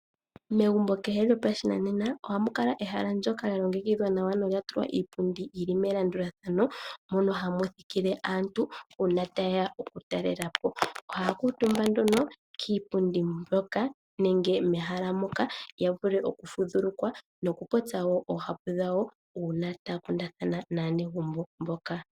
Megumbo kehe lyopashinamena ohamu kala ehala ndoka lya longekidhwa nawa nolya tulwa iipundi yili melandulathano mono hamu thikile aantu mboka yeya oku talela po. Ohaya kuutumba nduno kiipundi mbyoka yi li mehala moka noya vule oku fudhuluka po noku popya oohapu dhawo uuna taya kundathana naanegumbo mboka.